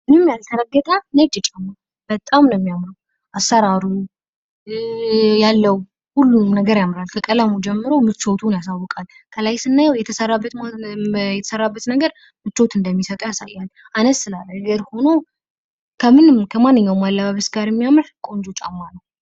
ምንም ያልተረገጠ ነጭ ጫማ በጣም ነው የሚያምረው አሰራሩ ያለው ሁሉም ነገር ያምራል ከቀለሙ ጀምሮ ምቾቱን ያሳውቃል። ከላይ ስናዬው የተሰራበት ነገር ምቾት እንደሚሰጠው ያሳያል አነስ ላለ እግር ሁኖ ከማንኛውም አለባበስ ጋር የሚያምር ቆንጆ ጫማ ነው።